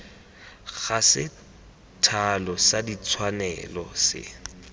ga sethalo sa ditshwanelo se